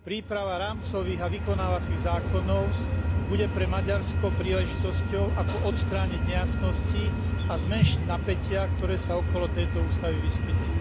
Príprava rámcových a vykonávacích zákonov bude pre Maďarsko príležitosťou, ako odstrániť nejasnosti a zmenšiť napätia, ktoré sa okolo tejto ústavy vyskytli.